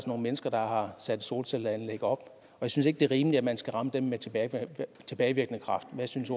nogle mennesker der har sat solcelleanlæg op og jeg synes ikke det er rimeligt at man skal ramme dem med tilbagevirkende kraft hvad synes